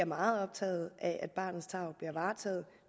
meget optaget af at barnets tarv bliver varetaget